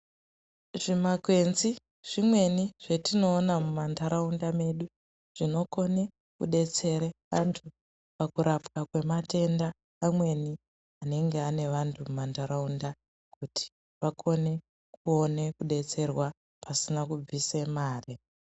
Zvimakwenzi zvimweni zvetinoona mumantaraunda medu zvinokone kudetsere antu pakurapwa kwematenda amweni anenge ane vantu mumantaraunda kuti vakone kuone kudetserwa pasina kubvise mare.